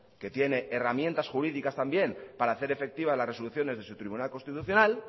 que tiene herramientas jurídicas también para hacer efectivas las resoluciones de su tribunal constitucional